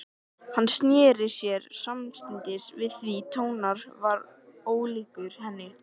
Hann sneri sér samstundis við því tónninn var ólíkur henni.